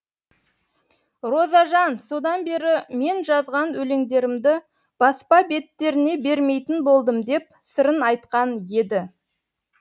розажан содан бері мен жазған өлеңдерімді баспа беттеріне бермейтін болдым деп сырын айтқан еді